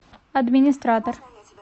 администратор